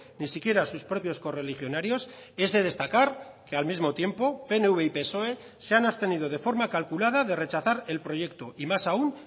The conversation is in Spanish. ni siquiera sus propios correligionarios es de destacar que al mismo tiempo pnv y psoe se han abstenido de forma calculada de rechazar el proyecto y más aun